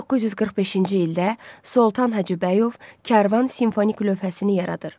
1945-ci ildə Soltan Hacıbəyov Kərvan simfonik lövhəsini yaradır.